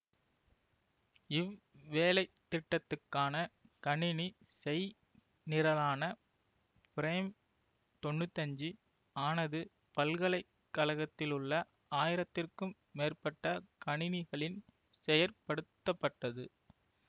இவ்வேலைத்திட்டத்துக்கான கணினி செய்நிரலான பிரைம் தொன்னூத்தி அஞ்சு ஆனது பல்கலைக்கழகத்திலுள்ள ஆயிரத்துக்கும் மேற்பட்ட கணினிகளின் செயற்படுத்தப்பட்டது